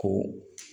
Ko